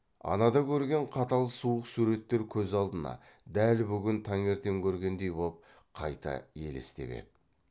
анада көрген қатал суық суреттер көз алдына дәл бүгін таңертең көргендей боп қайта елестеп еді